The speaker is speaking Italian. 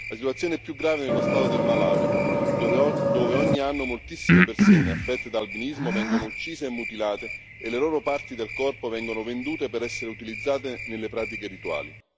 La situazione è più grave nello stato del Malawi, dove ogni anno moltissime persone affette da albinismo vengono uccise e mutilate e le loro parti del corpo vengono vendute per essere utilizzate nelle pratiche rituali.